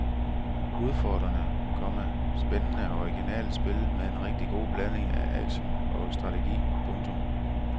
Udfordrende, komma spændende og originalt spil med en rigtig god blanding af aktion og strategi. punktum